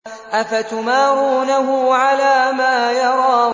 أَفَتُمَارُونَهُ عَلَىٰ مَا يَرَىٰ